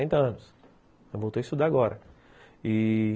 Sessenta Ela voltou a estudar agora.